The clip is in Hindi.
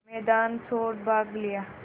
मैदान छोड़ भाग लिया